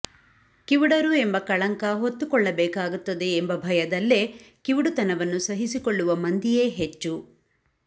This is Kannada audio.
ಕಿವುಡರು ಎಂಬ ಕಳಂಕ ಹೊತ್ತುಕೊಳ್ಳಬೇಕಾಗುತ್ತದೆ ಎಂಬ ಭಯದಲ್ಲೇ ಕಿವುಡುತನವನ್ನು ಸಹಿಸಿಕೊಳ್ಳುವ ಮಂದಿಯೇ ಹೆಚ್ಚು